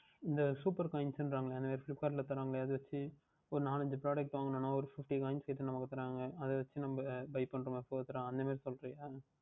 இந்த Super Coins என்று கூறுகிறார்கள் அல்லவா அந்த மாதிரி Flipkart யில் தருவார்கள் அதை வைத்து ஓர் நான்கு ஐந்து Product வாங்கினால் ஓர் Fifteen Coins நமக்கு தருவார்கள் அதை வைத்து நாம் Buy பன்னுகின்ற மாதிரி அந்த மாதிரி சொல்லுகின்றாயா